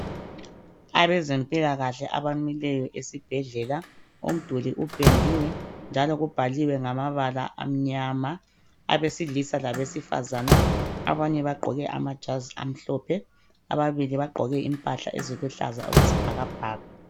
Abezempilakahle abamileyo esibhedlela umduli upendiwe njalo kubhaliwe ngamabala amnyama abesilisa labesifazana abanye bagqoke amajazi amhlophe ababili bagqoke impahla eziluhlaza okwesibhakabhaka.